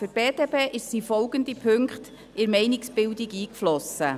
Für die BDP sind folgende Punkte in die Meinungsbildung eingeflossen.